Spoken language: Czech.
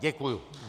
Děkuji.